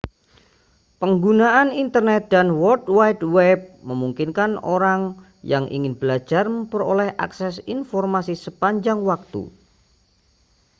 penggunaan internet dan world wide web memungkinkan orang yang ingin belajar memperoleh akses informasi sepanjang waktu